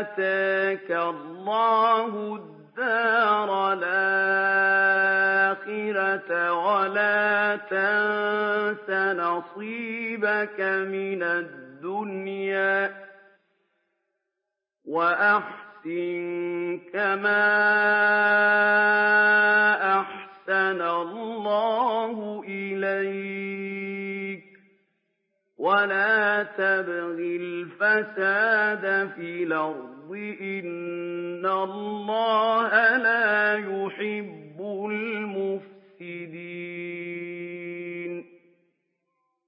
آتَاكَ اللَّهُ الدَّارَ الْآخِرَةَ ۖ وَلَا تَنسَ نَصِيبَكَ مِنَ الدُّنْيَا ۖ وَأَحْسِن كَمَا أَحْسَنَ اللَّهُ إِلَيْكَ ۖ وَلَا تَبْغِ الْفَسَادَ فِي الْأَرْضِ ۖ إِنَّ اللَّهَ لَا يُحِبُّ الْمُفْسِدِينَ